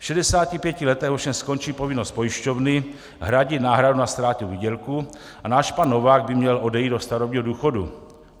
V 65 letech ovšem skončí povinnost pojišťovny hradit náhradu na ztrátě výdělku a náš pan Novák by měl odejít do starobního důchodu.